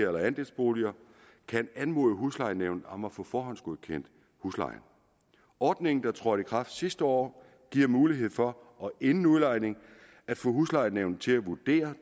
eller andelsboliger kan anmode huslejenævnet om at få forhåndsgodkendt huslejen ordningen der trådte i kraft sidste år giver mulighed for inden udlejning at få huslejenævnet til at vurdere